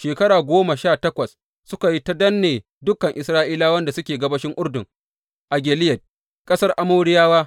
Shekara goma sha takwas suka yi ta danne dukan Isra’ilawan da suke gabashin Urdun a Gileyad, ƙasar Amoriyawa.